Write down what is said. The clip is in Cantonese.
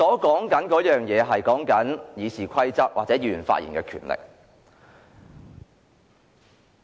我並不是指修改《議事規則》或限制議員發言的權利。